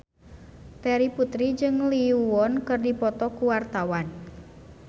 Terry Putri jeung Lee Yo Won keur dipoto ku wartawan